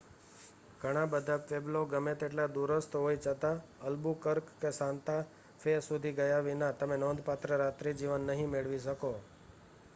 ઘણાં બધાં પ્વેબ્લો ગમે તેટલાં દૂરસ્થ હોય છતાં અલ્બુકર્ક કે સાન્તા ફે સુધી ગયા વિના તમે નોંધપાત્ર રાત્રિજીવન નહીં મેળવી શકો